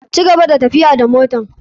Cigaba da tafiya da motar.